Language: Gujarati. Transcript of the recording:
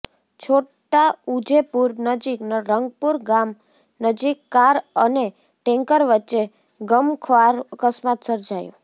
છોટાઉજેપુર નજીક રંગપુર ગામ નજીક કાર અને ટેન્કર વચ્ચે ગમખ્વાર અકસ્માત સર્જાયો